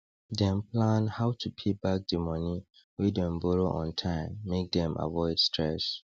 dem plan how to pay back di money wey dem borrow on time make dem avoid stres